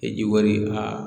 ji wari a